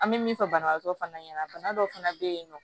An bɛ min fɔ banabagatɔ fana ɲɛna bana dɔ fana bɛ yen nɔ